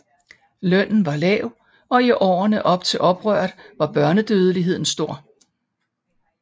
Lønnen var lav og i årene op til oprøret var børnedødeligheden stor